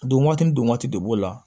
Don waati ni don waati de b'o la